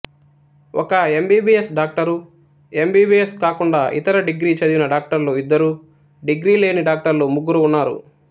ఒక MBBS doctor MBBS కాకుండా ఇతర డిగ్రీ చదివిన డాక్టర్లు ఇద్దరు డిగ్రీ లేని డాక్టర్లు ముగ్గురు ఉన్నారు